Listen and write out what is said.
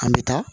An bɛ taa